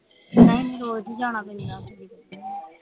ਨਹੀਂ ਰੋਜ ਹੀ ਜਾਣਾ ਪੈਂਦਾ